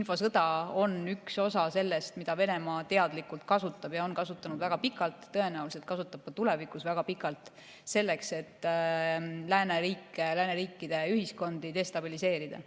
infosõda on üks osa sellest, mida Venemaa teadlikult kasutab ja on väga pikalt kasutanud – tõenäoliselt kasutab ka tulevikus väga pikalt – selleks, et lääneriikide ühiskondi destabiliseerida.